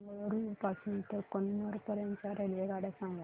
मला मंगळुरू पासून तर कन्नूर पर्यंतच्या रेल्वेगाड्या सांगा